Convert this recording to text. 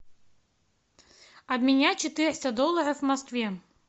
обменять четыреста долларов в москве